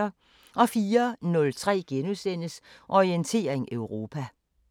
04:03: Orientering Europa *